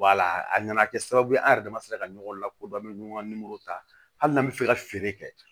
a nana kɛ sababu ye an yɛrɛ dama se ka ɲɔgɔn lakodɔn an be ɲɔgɔn ka nimoro ta hali n'an be fɛ ka feere kɛ